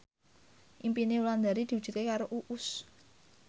impine Wulandari diwujudke karo Uus